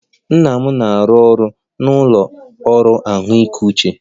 Nna m na-arụ ọrụ n'ụlọ ọrụ ahụike uche